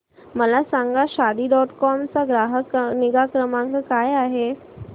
मला सांगा Shaadi dot com चा ग्राहक निगा क्रमांक काय आहे